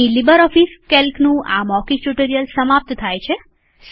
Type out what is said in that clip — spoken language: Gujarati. અહીં લીબરઓફીસ કેલ્કનું આ મૌખિક ટ્યુટોરીયલ સમાપ્ત થાય છે